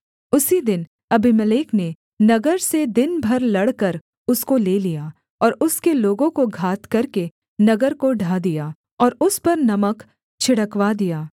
उसी दिन अबीमेलेक ने नगर से दिन भर लड़कर उसको ले लिया और उसके लोगों को घात करके नगर को ढा दिया और उस पर नमक छिड़कवा दिया